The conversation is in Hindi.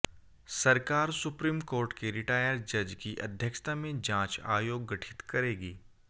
सरकार सुप्रीम कोर्ट के रिटायर जज की अध्यक्षता में जांच आयोग गठित करेगी